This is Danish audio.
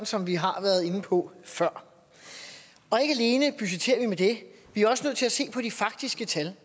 som vi har været inde på før og ikke alene budgetterer vi med det vi er også nødt til at se på de faktiske tal